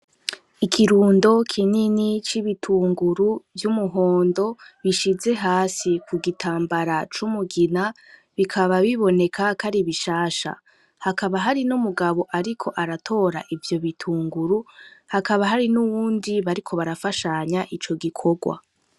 Ikirundo kinini c'ibitunguru vy'umuhondo bishize hasi kugitambara c'umugina bikaba biboneka kwari bishasha hakaba hari n'umugabo ariko aratora ivyo bitunguru hakaba n'uwundi bariko barafashanya ico gikorwa.